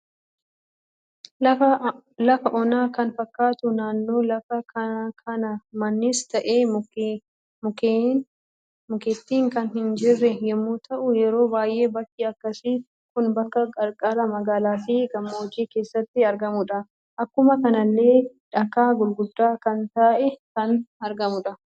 Lafa onaa kan fakkatu naannoo lafa kana mannis ta'e, mukeetiin kan hin jirre yemmu ta'u, yeroo baay'ee bakki akkasi kun bakka qarqaraa magaalaa fi gammoojji keessatti argamudha. Akkuma kanallee dhakaa gurgudda kan ta'e kan argamudha.